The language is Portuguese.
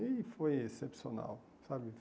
E foi excepcional, sabe?